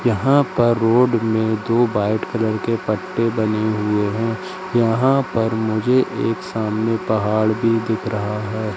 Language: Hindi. यहां पर रोड में दो व्हाईट कलर के पत्ते बने हुए हैं यहां पर मुझे एक सामने पहाड़ भी दिख रहा है।